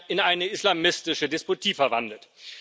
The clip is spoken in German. in eine islamistische Despotie verwandelt.